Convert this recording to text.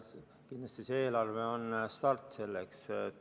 Kindlasti on see eelarve start selleks.